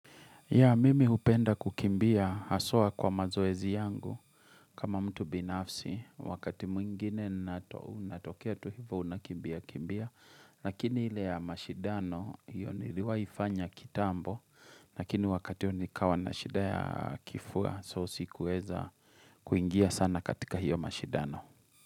Ya mimi hupenda kukimbia haswa kwa mazoezi yangu kama mtu binafsi wakati mwingine unatokea tu hivyo unakimbia kimbia Lakini ile ya mashindano hiyo niliwahi fanya kitambo lakini wakati huo nikawa na shida ya kifua so sikuweza kuingia sana katika hiyo mashidano.